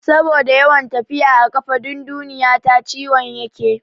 Saboda yawan tafiya a ƙafa dundunayi ta ciwon yake.